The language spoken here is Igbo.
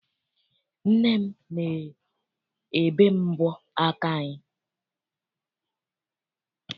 Nne m na-ebe m mbọ aka anyị.